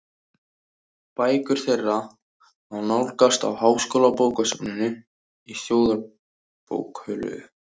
Bækur þeirra má nálgast á Háskólabókasafninu í Þjóðarbókhlöðu.